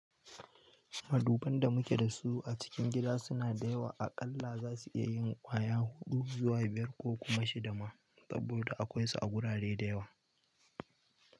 Maduban da muke dasu a cikin gisa suna da yawa, a ƙalla zasu iya kaiwa kwaya huɗu zuwa biyar ko kuma shida ma saboda akwai su a gurare da yawa.